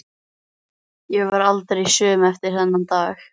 Ég varð aldrei söm eftir þann dag.